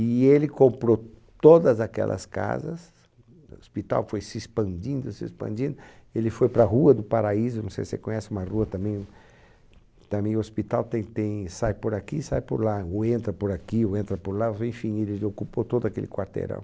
E ele comprou todas aquelas casas, o hospital foi se expandindo, se expandindo, ele foi para a Rua do Paraíso, não sei se você conhece uma rua também, também o hospital tem tem, sai por aqui, sai por lá, ou entra por aqui, ou entra por lá, enfim, ele ocupou todo aquele quarteirão.